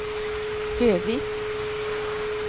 Fevik